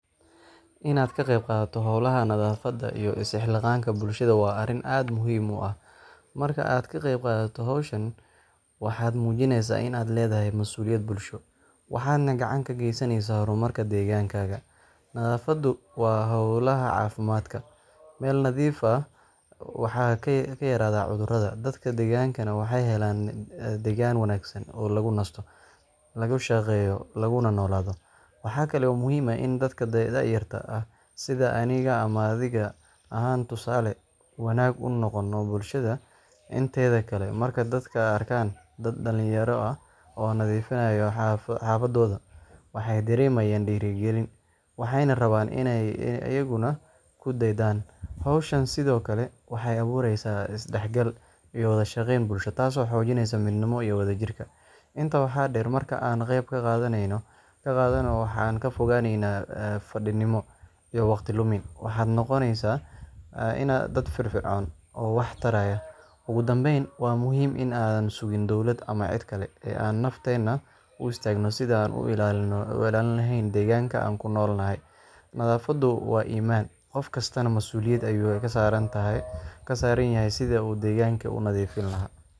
Inaad ka qayb qaadato hawlaha nadaafadda iyo is-xilqaanka bulshada waa arrin aad u muhiim ah. Marka aad ka qeyb qaadato hawshan, waxaad muujinaysaa in aad leedahay mas’uuliyad bulsho, waxaadna gacan ka geysaneysaa horumarka deegaankaaga. Nadaafaddu waa halbowlaha caafimaadka. Meel nadiif ah waxaa ka yaraada cudurrada, dadka deggenaana waxay helaan deegaan wanaagsan oo lagu nasto, lagu shaqeeyo laguna noolaado. Waxa kale oo muhiim ah in dadka da’yarta ah sida aniga ama adiga aan tusaale wanaagsan u noqono bulshada inteeda kale. Marka dadka arkaan dad dhalinyaro ah oo nadiifinaya xaafadooda, waxay dareemayaan dhiirigelin, waxayna rabaan inay iyaguna ku daydaan. Hawshan sidoo kale waxay abuureysaa is-dhexgal iyo wada shaqayn bulsho, taasoo xoojinaysa midnimada iyo wadajirka. Intaa waxaa dheer, marka aan ka qeyb qaadano, waxaan ka fogaaneynaa fadhiidnimo iyo waqti lumin, waxaan noqoneynaa dad firfircoon oo wax taraya. Ugu dambeyn, waa muhiim in aan la sugin dowlad ama cid kale, ee aan nafteena u istaagno sidii aan u ilaalin lahayn deegaanka aan ku nool nahay. Nadaafaddu waa iimaan, qof kastaana mas’uuliyad ayuu ka saaran yahay sidii uu deegaanka u nadiifin lahaa.